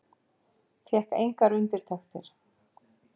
Fékk engar undirtektir.